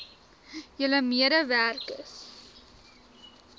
julle mede werkers